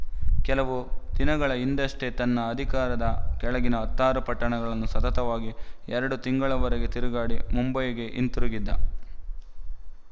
ಕೆಲವು ದಿನಗಳ ಹಿಂದಷ್ಟೇ ತನ್ನ ಅಧಿಕಾರದ ಕೆಳಗಿನ ಹತ್ತಾರು ಪಟ್ಟಣಗಳನ್ನು ಸತತವಾಗಿ ಎರಡು ತಿಂಗಳವರೆಗೆ ತಿರುಗಾಡಿ ಮುಂಬಯಿಗೆ ಹಿಂತಿರುಗಿದ್ದ